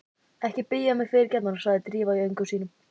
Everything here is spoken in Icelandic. Ekki biðja mig fyrirgefningar sagði Drífa í öngum sínum.